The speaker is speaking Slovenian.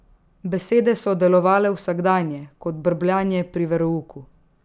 Besede so delovale vsakdanje, kot brbljanje pri verouku.